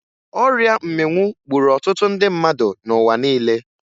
Ọrịa mmịnwụ gburu ọtụtụ ndị mmadụ n'ụwa niile